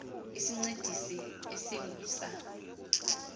isincedisi esingu sa